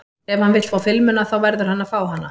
Ef hann vill fá filmuna þá verður hann að fá hana.